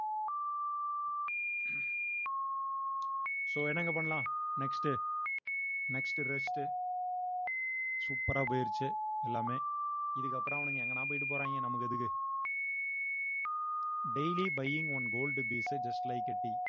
so என்னங்க பண்ணலாம் next உ next rest உ super ஆ போயிருச்சு எல்லாமே இதுக்கு அப்புறம் அவனுங்க எங்கனா போயிட்டு போறாங்க நமக்கு எதுக்கு daily buying one gold bees உ just like a tea